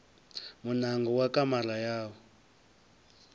muṋango wa kamara ya u